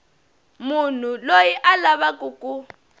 munhu loyi a lavaku ku